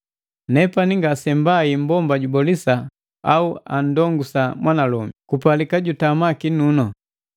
Nepani ngasembai mmbomba jubolisa au andongusa mwanalomi; kupalika jutama kinunu.